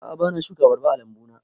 A'a bana shuka abarba a lambu na